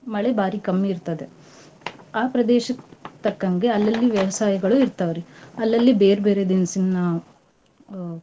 ಮಳೆ ಬಾರಿ ಕಮ್ಮೀ ಇರ್ತದೆ. ಆ ಪ್ರದೇಶಕ್ ತಕ್ಕಂಗೆ ಅಲ್ಲಲ್ಲಿ ವ್ಯವಸಾಯಗಳು ಇರ್ತಾವ್ರಿ. ಅಲ್ಲಲ್ಲಿ ಬೇರ್ಬೇರೆ ದಿನ್ಸಿನ ಅ.